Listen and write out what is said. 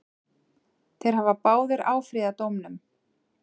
Þeir hafa báðir áfrýjað dómnum.